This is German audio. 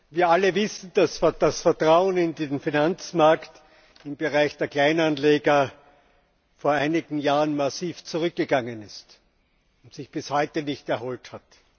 Wir alle wissen, dass das Vertrauen in den Finanzmarkt im Bereich der Kleinanleger vor einigen Jahren massiv zurückgegangen ist und sich bis heute nicht erholt hat.